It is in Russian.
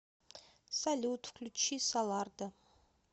салют включи солардо